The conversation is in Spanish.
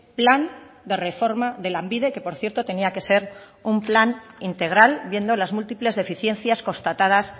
plan de reforma de lanbide que por cierto tenía que ser un plan integral viendo las múltiples deficiencias constatadas